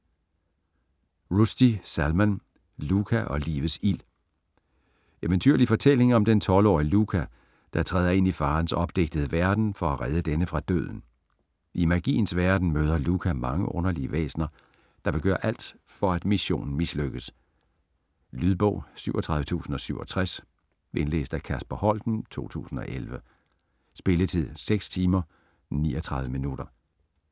Rushdie, Salman: Luka og livets ild Eventyrlig fortælling om den 12-årige Luka, der træder ind i faderens opdigtede verden for at redde denne fra døden. I Magiens Verden møder Luka mange underlige væsner, der vil gøre alt for at missionen mislykkes. Lydbog 37067 Indlæst af Kasper Holten, 2011. Spilletid: 6 timer, 39 minutter.